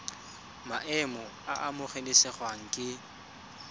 maemo a a amogelesegang ke